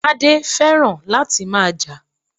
Tade feran lati maa ja.